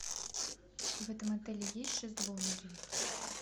в этом отеле есть шезлонги